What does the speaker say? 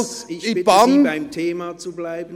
Herr Hess, ich bitte Sie, beim Thema zu bleiben.